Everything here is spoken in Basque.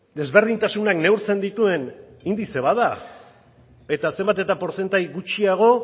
desberdintasunak neurtzen dituen indize bat da eta zenbat eta portzentai gutxiago